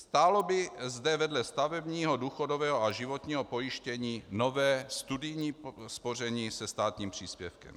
Stálo by zde vedle stavebního důchodového a životního pojištění nové studijní spoření se státním příspěvkem.